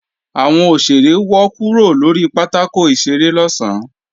Àwọn òṣèré wọ́ kúrò lórí pátákò ìṣeré lọ̀sán